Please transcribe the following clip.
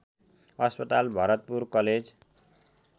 अस्पताल भरतपुर कलेज